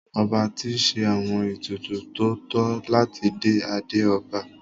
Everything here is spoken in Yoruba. Ọba ti ṣe àwọn ètùtù tó tọ́ láti dé adé ọba.